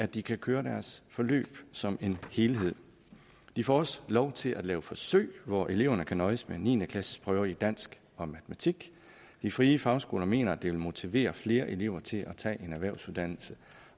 de kan køre deres forløb som en helhed de får også lov til at lave forsøg hvor eleverne kan nøjes med niende klasseprøve i dansk og matematik de frie fagskoler mener at det vil motivere flere elever til at tage en erhvervsuddannelse